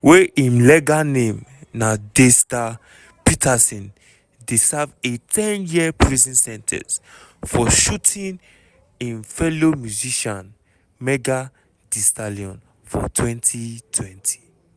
wey im legal name na daystar peterson dey serve a 10-year prison sen ten ce for shooting im fellow musician megan thee stallion for 2020.